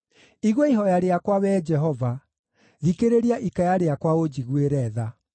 Igua ihooya rĩakwa, Wee Jehova; thikĩrĩria ikaya rĩakwa ũnjiguĩre tha.